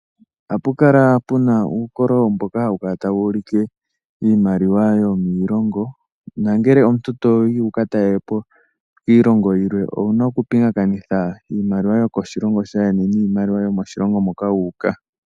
Ohapu kala puna uukololo mboka hawu kala tawu ulike iimaliwa yomiilongo. Na ngele omuntu toyi wu ka talelepo iilongo yilwe, owuna okupingakanitha iimaliwa yo koshilongo shaayeni niimaliwa yo moshilongo moka wu uka.